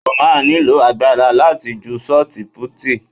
O máa nílò agbára láti ju Ṣọ́tí putìì.